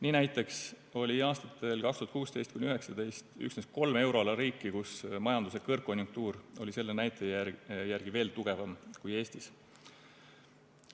Nii näiteks oli aastatel 2016–2019 üksnes kolm euroala riiki, kus majanduse kõrgkonjunktuur oli selle näitaja järgi veel tugevam kui Eestis.